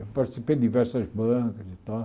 Eu participei de diversas bancas e tal.